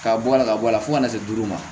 K'a bɔ a la ka bɔ a la fo ka na se duuru ma